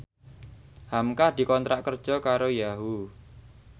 hamka dikontrak kerja karo Yahoo!